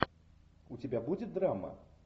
у тебя будет драма